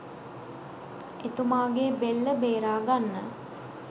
එතුමාගේ බෙල්ල බේරා ගන්න